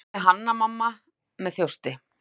spurði Hanna-Mamma með þjósti.